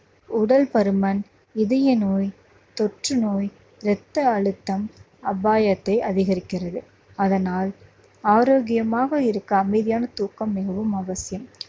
உடல் பருமன், இதய நோய், தொற்றுநோய், ரத்த அழுத்தம் அபாயத்தை அதிகரிக்கிறது. அதனால் ஆரோக்கியமாக இருக்க அமைதியான தூக்கம் மிகவும் அவசியம்